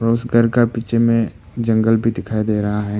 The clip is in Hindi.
उस घर का बीच में जंगल भी दिखाई दे रहा है।